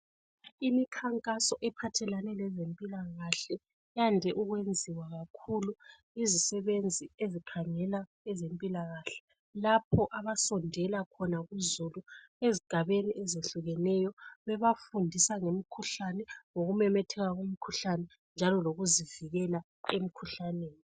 Imikhankaso ephathelane lezempilakahle yande ukwenziwa kakhulu izisebenzi ezikhangela ezempilakahle lapho abasondela khona kuzulu ezigabeni ezehlukeneyo bebafundisa ngemikhuhlane, ngokumemetheka lomkhuhlane njalo lokuzivikela emkhuhlaneni